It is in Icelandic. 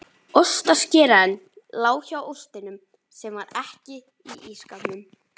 Ostaskerinn lá hjá ostinum sem var ekki í ísskápnum.